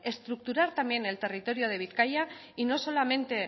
estructurar también el territorio de bizkaia y no solamente